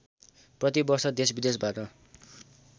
प्रति वर्ष देशविदेशबाट